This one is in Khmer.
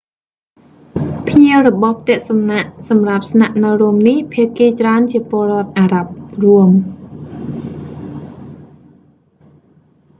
ភ្ញៀវរបស់ផ្ទះសំណាក់សម្រាប់ស្នាក់នៅរួមនេះ ភាគីច្រើនជាពលរដ្ឋអារ៉ាប់រួម